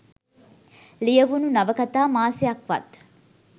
ලියවුණ නවකතා මාසයක්වත්